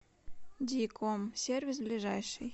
диком сервис ближайший